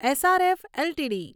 SRF LTD